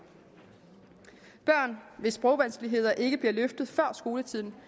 børn hvis sprogvanskeligheder ikke bliver løftet før skoletiden